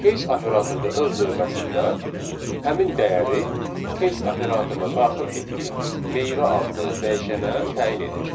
Case operator da öz növbəsində həmin dəyəri case operatoruna daxil etdiyimiz meyvə adlı dəyişənə təyin edir.